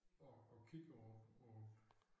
Og og kigger på på